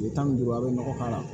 Kile tan ni duuru a bɛ nɔgɔ k'a la